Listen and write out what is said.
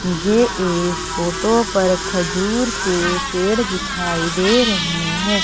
मुझे इस फोटो पर खजूर के पेड़ दिखाई दे रहे हैं।